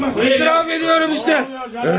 İtiraf edirəm işte!